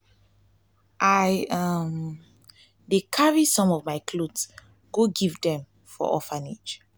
i dey carry some of my cloths go give dem for orphanage.